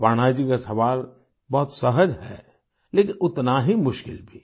अपर्णा जी का सवाल बहुत सहज है लेकिन उतना ही मुश्किल भी